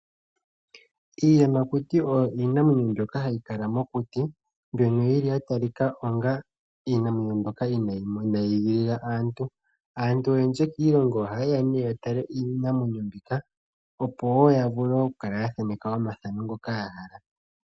Iiyamakuti oyo iinamwenyo mbyoka hayi kala mokuti mbyono yili yatalika onga iinamwenyo mbyoka inayi igilila aantu. Aantu oyendji kiilongo oha ye ya nee ya tale iinamwenyo mbika opo woo ya vule oku thaneka omathako ngoka yahala.